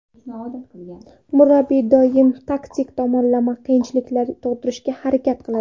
Murabbiy doim taktik tomonlama qiyinchiliklar tug‘dirishga harakat qiladi.